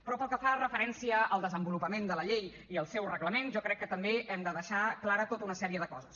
però pel que fa referència al desenvolupament de la llei i el seu reglament jo crec que també hem de deixar clara tota una sèrie de coses